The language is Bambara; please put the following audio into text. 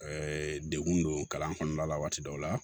degun don kalan kɔnɔna la waati dɔw la